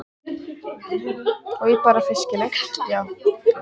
Stjáni tvísteig hjá þeim og andaði að sér sjávarloftinu og fisklyktinni.